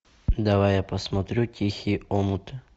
давай я посмотрю тихий омут